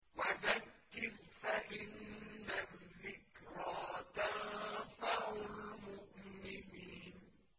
وَذَكِّرْ فَإِنَّ الذِّكْرَىٰ تَنفَعُ الْمُؤْمِنِينَ